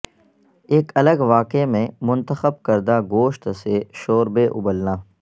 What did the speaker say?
ایک الگ واقعے میں منتخب کردہ گوشت سے شوربے ابلنا